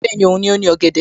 Bẹ́ẹ̀ni, Òun ni ó ní ọ̀gẹ̀dẹ̀